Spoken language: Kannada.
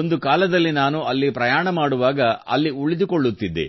ಒಂದು ಕಾಲದಲ್ಲಿ ನಾನು ಅಲ್ಲಿ ಪ್ರಯಾಣ ಮಾಡುವಾಗ ಅಲ್ಲಿ ಉಳಿದುಕೊಳ್ಳುತ್ತಿದ್ದೆ